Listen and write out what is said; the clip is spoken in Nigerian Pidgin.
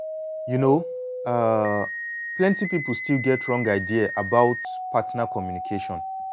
you know um say plenty people still get wrong idea about partner communication.